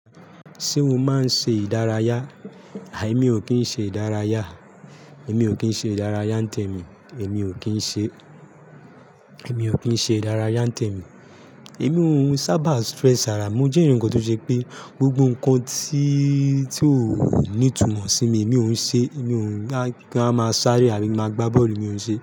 Ṣé o máa ń ṣe ìdárayá? Àì, èmi ò kí ń ṣe ìdárayá. Èmi ò kí ń ṣe ìdárayá n tẹ mi. Èmi ò kí ń ṣe, èmi ò kí ń ṣe ìdárayá n tẹ mi. Èmi ò ún sábà stress árá mi. Mo jẹ́ èyán kan tó ṣe pé gbogbo nǹkan tí, tí ó ní ìtumọ̀ sí mi, mi ò ún ṣe. Èmi ò ń gbá ki n wa máa sáré àbí ki n máa gbá bọ́ọ̀lù, èmi ò ń ṣe.